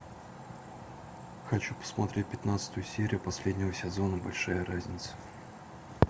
хочу посмотреть пятнадцатую серию последнего сезона большая разница